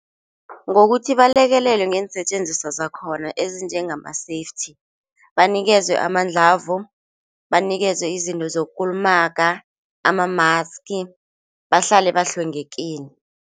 Ngokuthi bakulekelelwe ngeensetjenziswa zakhona ezinjengama-safety, banikezwe amandlavo, banikezwe izinto sokulumaga ama-maski bahlale bahlwengekile.